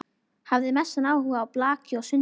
Hafði mestan áhuga á blaki og sundi.